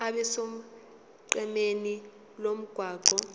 abe sonqenqemeni lomgwaqo